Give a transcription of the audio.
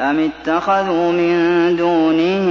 أَمِ اتَّخَذُوا مِن دُونِهِ